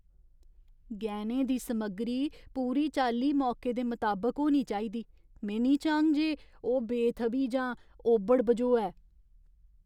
गैह्‌नें दी समग्गरी पूरी चाल्ली मौके दे मताबक होनी चाहिदी। में निं चाह्ङ जे ओह् बेथ'वी जां ओभड़ बझोऐ।